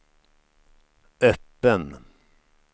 öppen